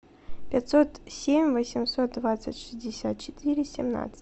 пятьсот семь восемьсот двадцать шестьдесят четыре семнадцать